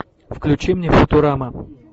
включи мне футурама